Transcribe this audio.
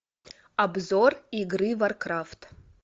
обзор игры варкрафт